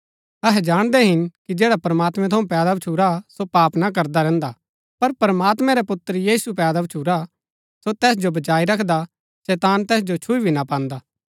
अहै जाणदै हिन कि जैडा प्रमात्मैं थऊँ पैदा भच्छुरा सो पाप ना करदा रैहन्दा पर प्रमात्मैं रै पुत्र यीशु पैदा भच्छुरा सो तैस जो बचाई रखदा शैतान तैस जो छुई भी ना पान्दा